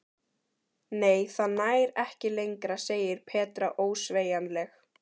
Nei, það nær ekki lengra segir Petra ósveigjanleg.